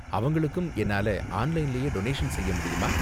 அவங்களுக்கும் என்னால ஆன்லைன்லயே டொனேஷன் செய்ய முடியுமா?